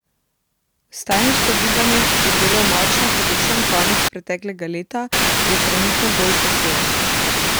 Vstajniško gibanje, ki je bilo močno predvsem konec preteklega leta, je trenutno bolj pasivno.